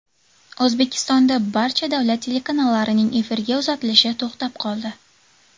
O‘zbekistonda barcha davlat telekanallarining efirga uzatilishi to‘xtab qoldi.